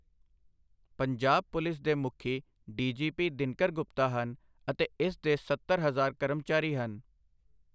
Punjab police ਦੇ ਮੁਖੀ D. G. P. Dinkar Gupta ਹਨ ਅਤੇ ਇਸ ਦੇ ਸੱਤਰ ਹਜ਼ਾਰ ਕਰਮਚਾਰੀ ਹਨ।